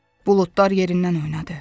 Buludlar yerindən oynadı.